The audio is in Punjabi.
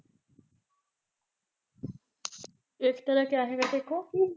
ਏਕਤਾ ਦਾ ਕਿਆ ਹੈਗਾ ਤੇਰੇ ਕੋਲ